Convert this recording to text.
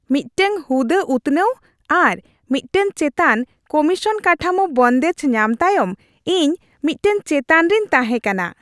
ᱢᱤᱫᱴᱟᱝ ᱦᱩᱫᱟᱹ ᱩᱛᱱᱟᱹᱣ ᱟᱨ ᱢᱤᱫᱴᱟᱝ ᱪᱮᱛᱟᱱ ᱠᱚᱢᱤᱥᱚᱱ ᱠᱟᱴᱷᱟᱢᱳ ᱵᱚᱱᱫᱮᱡ ᱧᱟᱢ ᱛᱟᱭᱚᱢ, ᱤᱧ ᱢᱤᱫᱴᱟᱝ ᱪᱮᱛᱟᱱ ᱨᱮᱧ ᱛᱟᱦᱮᱸ ᱠᱟᱱᱟ ᱾